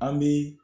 An bi